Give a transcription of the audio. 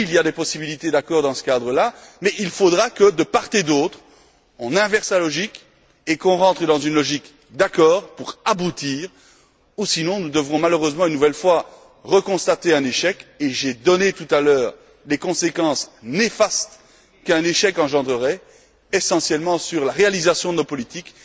Oui, il y a des possibilités d'accord dans ce cadre là, mais il faudra que de part et d'autre, on inverse la logique et qu'on rentre dans une logique d'accord, pour aboutir, sinon, nous devrons malheureusement constater un nouvel échec et j'ai donné tout à l'heure les conséquences néfastes qu'un échec engendrerait, essentiellement sur la réalisation de nos politiques.